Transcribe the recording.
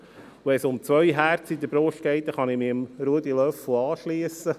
Wenn es um zwei Herzen in der Brust geht, kann ich mich Ruedi Löffel anschliessen: